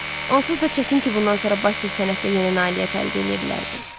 Onsuz da çətin ki, bundan sonra Basil sənətdə yeni nailiyyət əldə eləyə bilərdi.